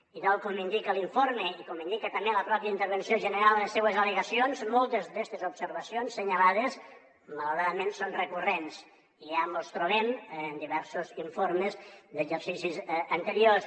i tal com indica l’informe i com indica també la pròpia intervenció general en les seues al·legacions moltes d’aquestes observacions assenyalades malauradament són recurrents i ja mos les trobem en diversos informes d’exercicis anteriors